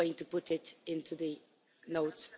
We are going to put it into the notes.